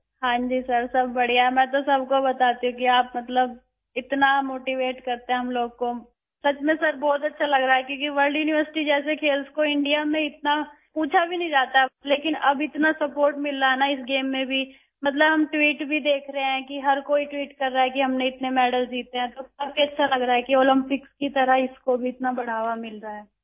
جی sir, سب ٹھیک ہے، میں سب سے کہتی ہوں کہ آپ ہمیں بہت حوصلہ دیتے ہیں، واقعی سر، مجھے بہت اچھا لگ رہا ہے، کیونکہ انڈیا میں ورلڈ یونیورسٹی جیسے کھیلوں کو اتنا پوچھا بھی نہیں جاتا ہے لیکن اب ہمیں اس کھیل میں بھی بہت زیادہ پذیرائی مل رہی ہے... ہم ٹویٹس دیکھ رہے ہیں... ہر کوئی ٹوئیٹ کر رہا ہے کہ ہم نے بہت سارے تمغے جیتے ہیں، تو یہ بہت اچھا محسوس ہو رہا ہے کہ اولمپکس کی طرح اس کو بھی اتنا بڑھاوا مل رہا ہے